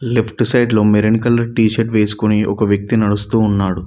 Left side లో maroon colour t shirt వేసుకొని ఒక వ్యక్తి నడుస్తూ ఉన్నాడు.